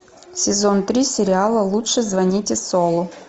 сезон три сериала лучше звоните солу